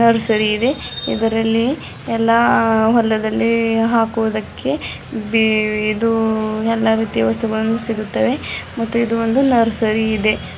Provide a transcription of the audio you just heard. ಸರಿ ಇದೆ ಇದರಲ್ಲಿ ಎಲ್ಲಾ ಹೊಲದಲ್ಲಿ ಹಾಕುವುದಕ್ಕೆ ಬಿ ಇದು ಎಲ್ಲಾ ರೀತಿ ವಸ್ತುಗಳನ್ನು ಸಿಗುತ್ತವೆ ಮತ್ತು ಇದು ಒಂದು ನರ್ಸರಿ ಇದೆ.